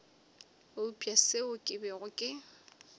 eupša seo ke bego ke